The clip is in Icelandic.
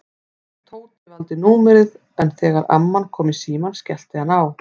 Tóti valdi númerið en þegar amman kom í símann skellti hann á.